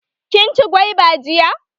Kin ci gwaiba jiya?